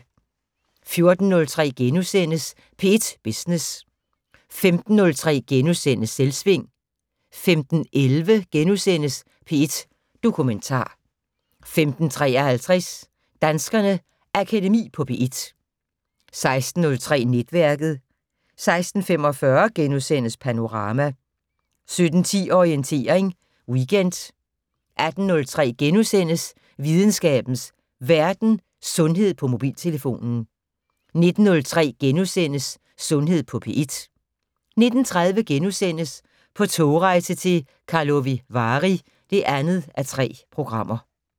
14:03: P1 Business * 15:03: Selvsving * 15:11: P1 Dokumentar * 15:53: Danskernes Akademi på P1 16:03: Netværket 16:45: Panorama * 17:10: Orientering Weekend 18:03: Videnskabens Verden: Sundhed på mobiltelefon * 19:03: Sundhed på P1 * 19:30: På togrejse til Karlovy Vary (2:3)*